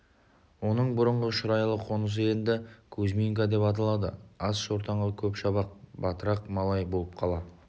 оның бұрынғы шұрайлы қонысы енді кузьминка деп аталады аз шортанға көп шабақ батырақ малай болып қала